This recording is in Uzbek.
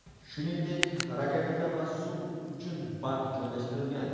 Shuningdek, rakovina va suv uchun bak joylashtirilgan.